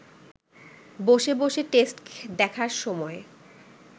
বসে বসে টেস্ট দেখার সময়